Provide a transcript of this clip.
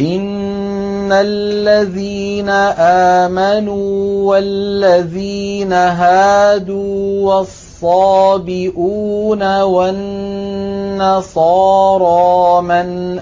إِنَّ الَّذِينَ آمَنُوا وَالَّذِينَ هَادُوا وَالصَّابِئُونَ وَالنَّصَارَىٰ مَنْ